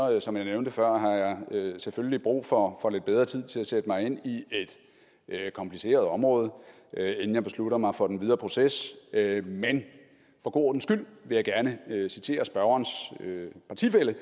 jeg som jeg nævnte før selvfølgelig brug for lidt bedre tid til at sætte mig ind i et kompliceret område inden jeg beslutter mig for den videre proces men for god ordens skyld vil jeg gerne citere spørgerens partifælle